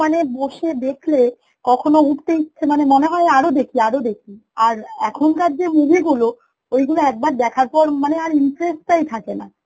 মানে বসে দেখলে কখনো উঠতে ইচ্ছে মানে মনে হয় আরো দেখি আরো দেখি আর এখনকার যে movie গুলো, ওইগুলা একবার দেখার পর মানে আর interest টাই থাকেনা